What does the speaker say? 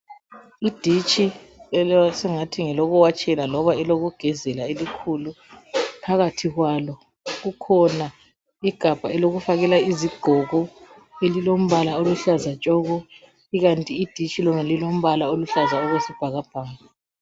Iditshi esingathi ngelokuwatshela loba elokugezela elikhulu, phakathi kwalo kukhona igabha elokufakela izigqoko elilombala oluhlaza tshoko. Ikanti iditshi lona lilombala oluhlaza okwesibhakabhaka.